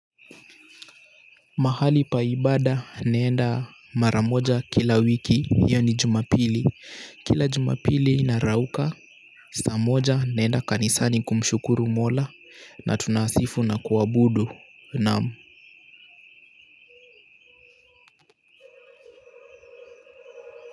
Mahali pa ibada naenda mara moja kila wiki yaani Jumapili, kila Jumapili narauka saa moja naenda kanisani kumshukuru mola na tunasifu na kuabudu naam.